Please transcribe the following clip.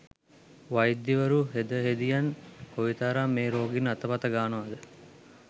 වෛද්‍යවරු හෙද හෙදියන් කොයිතරම් මේ රෝගීන් අතපත ගානවද?